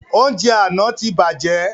Oúnjẹ àna tí bàjẹ́